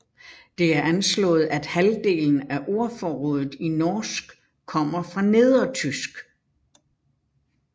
Det er anslået at halvdelen af ordforrådet i norsk kommer fra nedertysk